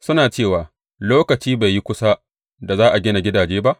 Suna cewa, Lokaci bai yi kusa da za a gina gidaje ba?